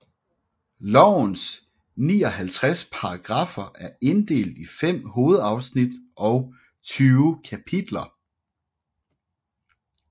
Lovens 59 paragraffer er inddelt i fem hovedafsnit og 20 kapitler